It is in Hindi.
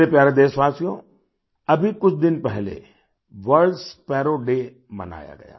मेरे प्यारे देशवासियोअभी कुछ दिन पहले वर्ल्ड स्पैरो डे मनाया गया